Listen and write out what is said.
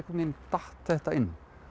veginn datt þetta inn